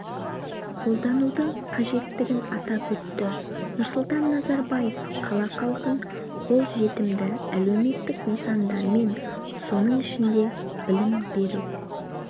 қолданудың қажеттігін атап өтті нұрсұлтан назарбаев қала халқын қолжетімді әлеуметтік нысандармен соның ішінде білім беру